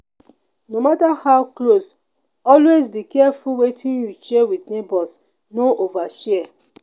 no matter how close always be careful wetin you share with neighbors no overshare.